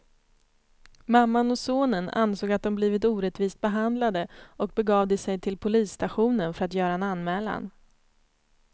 Mamman och sonen ansåg att de blivit orättvist behandlade och begav de sig till polisstationen för att göra en anmälan.